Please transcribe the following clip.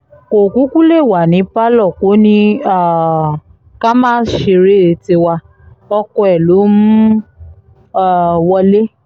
kò kúkú lè wà ní pálọ̀ kò ní um ká má ṣeré tiwa ọkọ ẹ̀ ló mú um wọlé